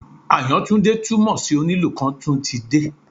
Àyàntúndé túmọ̀ sí Onílù kan tún ti dé